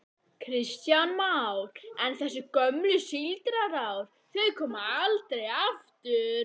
Kristján Már: En þessi gömlu síldarár, þau koma aldrei aftur?